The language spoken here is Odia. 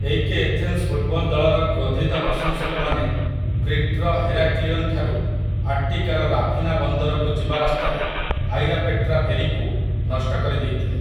ଏଇକେ ଏଥେନ୍ସ ଫୁଟ୍‌ବଲ୍‌ ଦଳର କ୍ରୋଧିତ ପ୍ରଶଂସକମାନେ କ୍ରିଟ୍ର ହେରାକ୍ଲିଅନ୍ ଠାରୁ ଆଟ୍ଟିକାର ରାଫିନା ବନ୍ଦରକୁ ଯିବା ରାସ୍ତାରେ 'ଆଇରାପେଟ୍ରା' ଫେରିକୁ ନଷ୍ଟ କରିଦେଇଥିଲେ ।